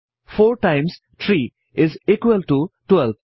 4 times 3 each equal ত 12